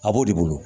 A b'o de bolo